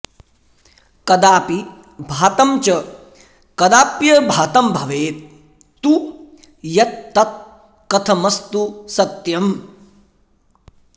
कदाऽपि भातं च कदाप्यभातं भवेत् तु यत् तत् कथमस्तु सत्यम्